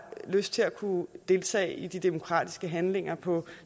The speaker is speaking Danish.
lyst til at kunne deltage i de demokratiske handlinger på